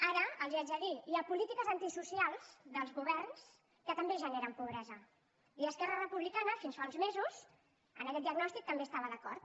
ara els ho haig de dir hi ha polítiques antisocials dels governs que també generen pobresa i esquerra republicana de catalunya fins fa uns mesos en aquest diagnòstic també hi estava d’acord